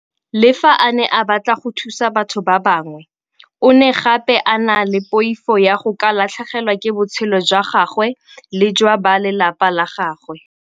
Le fa a ne a batla go thusa batho ba bangwe, o ne gape a na le poifo ya go ka latlhegelwa ke botshelo jwa gagwe le jwa ba lelapa la gagwe.